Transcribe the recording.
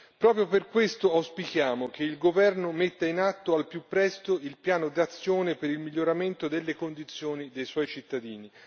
Proprio per questo auspichiamo che il Governo metta in atto al più presto il piano d'azione per il miglioramento delle condizioni dei suoi cittadini.